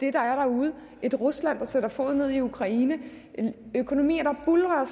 er derude et rusland der sætter foden ned i ukraine og økonomier der buldrer